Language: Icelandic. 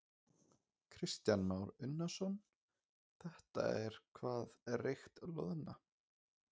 Kristján Már Unnarsson: Þetta er hvað reykt loðna?